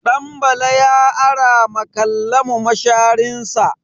Ɗanbala ya ara ma Kallamu masharinsa.